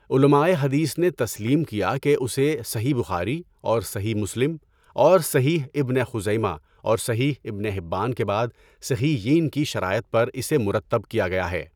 علمائے حدیث نے تسلیم کیا کہ اسے صحیح بخاری اور صحیح مسلم اور صحیح ابنِ خُزَیمہ اور صحیح ابنِ حِبّان کے بعد صحیحَین کی شرائط پر اسے مرتب کیا گیا ہے۔